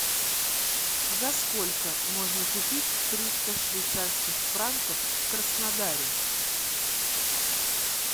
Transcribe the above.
за сколько можно купить триста швейцарских франков в краснодаре